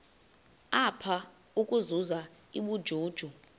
apha ukuzuza ubujuju